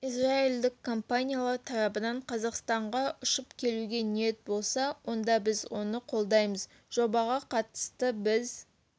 израильдік компаниялар тарабынан қазақстанға ұшып келуге ниет болса онда біз оны қолдаймыз жобаға қатысты біз